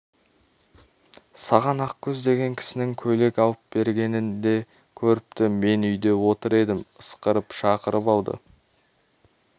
саған ақкөз деген кісінің көйлек алып бергенін де көріпті мен үйде отыр едім ысқырып шақырып алды